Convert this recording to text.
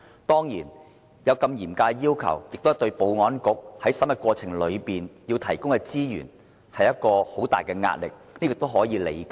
當然，這對保安局在審核過程期間，會構成很大資源壓力，但這是可以理解的。